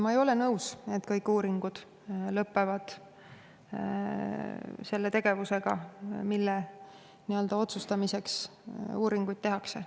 Ma ei ole nõus, et kõik uuringud lõpevad selle tegevusega, mille üle otsustamiseks uuring tehakse.